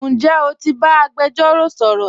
Njẹ́ o ti ba agbẹ̀jọ̀ro sọ̀rọ̀?